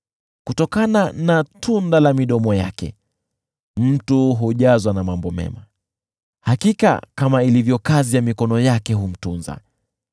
Kutokana na tunda la midomo yake mtu hujazwa na mambo mema, hakika kama ilivyo kazi ya mikono yake humtunza.